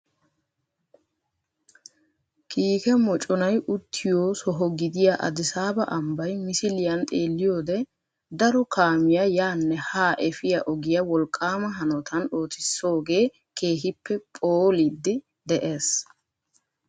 Kiike mooconay uttiyoo soho gidiyaa adisaabaa ambbay misiliyaan xeeliyoode daro kaamiyaa yaanne haa efiyaa ogiyaa wolqqaama hanotaan ootisoogee keehippe phool'idi dees.